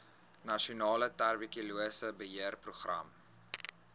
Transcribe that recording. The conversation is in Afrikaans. nasionale tuberkulose beheerprogram